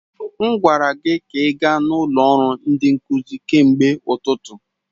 M gwara gị ka ị gaa n'ụlọ ọrụ ndi nkuzi kemgbe ụtụtụ.